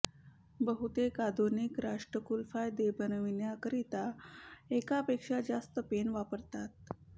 बहुतेक आधुनिक राष्ट्रकुल कायदे बनवण्याकरिता एकापेक्षा जास्त पेन वापरतात